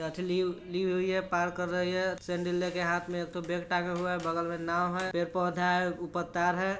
कथली उथली हुई हैं पार कर रहे है सेंडल लगे लेके हाथ में | तोह गैब टांगे हुए हैं| बगल मैं नाव हैं| एक पौधा हैं| ऊपर तार हैं।